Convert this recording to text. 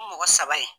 Mɔgɔ saba ye